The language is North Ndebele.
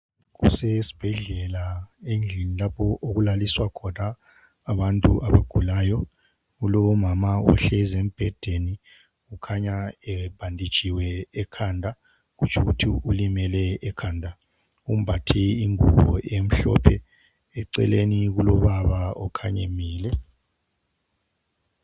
Kusesibhedlela endlini lapho okulaliswa khona abantu abagulayo. Kulomama ohlezi embedeni okhanya ebhanditshiwe ekhanda kutshukuthi ulimele ekhanda. Umbathe ingubo emhlophe. Eceleni kulobaba okhanya emile.